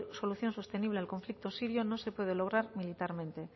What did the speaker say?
solución sostenible al conflicto sirio no se puede lograr militarmente